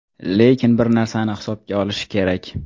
Lekin, bir narsani hisobga olishi kerak.